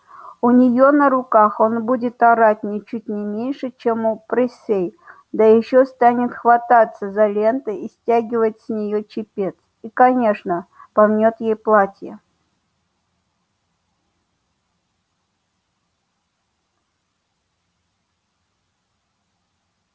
у нее на руках он будет орать ничуть не меньше чем у присей да ещё станет хвататься за ленты и стягивать с нее чепец и конечно помнёт ей платье